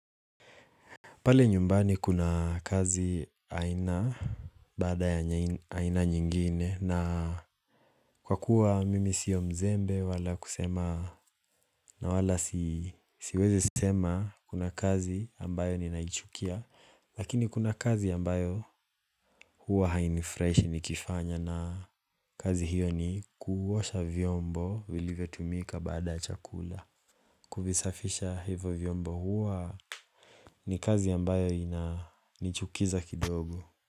Pale nyumbani kuna kazi aina baada ya aina nyingine na kwa kuwa mimi sio mzembe wala kusema na wala siwezi sema kuna kazi ambayo ninaichukia. Lakini kuna kazi ambayo huwa hainifurahishi nikiifanya na kazi hiyo ni kuosha vyombo vilivyotumika bada chakula. Kuvisafisha hivo vyombo huwa ni kazi ambayo inanichukiza kidogo.